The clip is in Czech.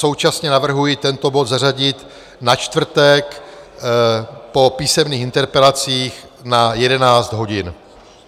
Současně navrhuji tento bod zařadit na čtvrtek po písemných interpelacích na 11 hodin.